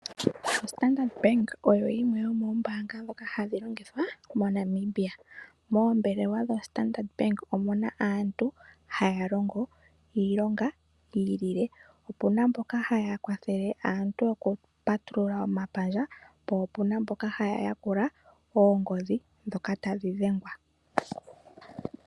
OStandard Bank oyo yimwe yomoombanga dhoka hadhi longithwa moNamibia. Moo. velewa dho Standard Bank omuna aantu haya longo iilonga yi ilile, opuna mboka haya kwathele aantu okupatulula omapandja, po opuna mboka haya yakula oongodhi dhoka tadhi dhengwa.